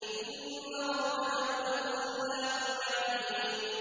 إِنَّ رَبَّكَ هُوَ الْخَلَّاقُ الْعَلِيمُ